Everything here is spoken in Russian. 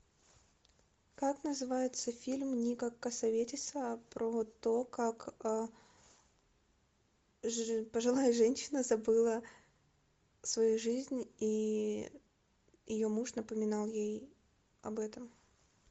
как называется фильм ника кассаветиса про то как пожилая женщина забыла свою жизнь и ее муж напоминал ей об этом